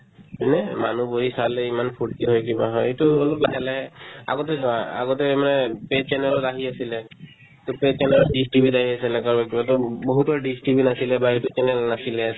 এনে মানুহ বহি চালে ইমান ফূৰ্তি হয় কিবা হয় এইটো অলপ লাহে লাহে আগতে চোৱা আগতে মানে channel ত আহি আছিলে to channel ত dish TV ত আহি আছিলে কাৰোবাৰ কাৰোবাৰ বহুতৰে dish TV নাছিলে বা এইটো channel নাছিলে